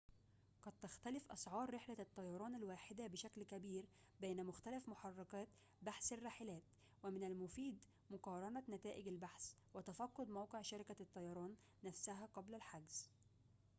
قد تختلف أسعار رحلة الطيران الواحدة بشكل كبير بين مختلف محركات بحث الرحلات ومن المفيد مقارنة نتائج البحث وتفقد موقع شركة الطيران نفسها قبل الحجز